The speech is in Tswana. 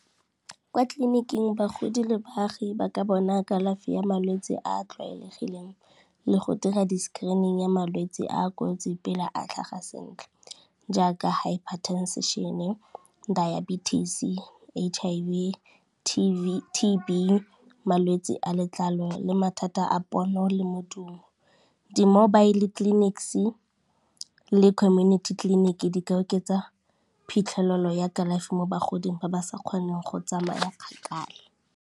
Kwa tleliniking bagodi le baagi ba ka bona kalafi ya malwetse a a tlwaelegileng le go dira di-screening ya malwetse a a kotsi pele a tlhaga sentle jaaka, hypertension-e, diabetes, H_I_V, T_B, malwetse a letlalo le mathata a pono le modumo. Di-mobile clinics le community clinic di ka oketsa phitlhelelo ya kalafi mo bagoding ba ba sa kgoneng go tsamaya kgakala.